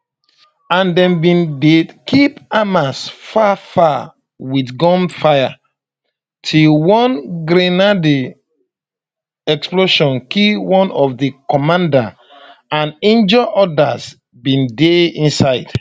and dem bin dey keep hamas far far wit gunfire till one grenade explosion kill one of di commanders and injure odas bin dey inside